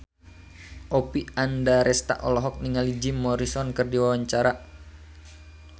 Oppie Andaresta olohok ningali Jim Morrison keur diwawancara